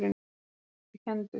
Hann er dálítið kenndur.